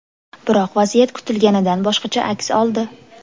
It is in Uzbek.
Biroq vaziyat kutilganidan boshqacha aks oldi.